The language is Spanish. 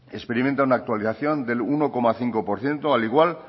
experimenta una actualización del uno coma cinco por ciento al igual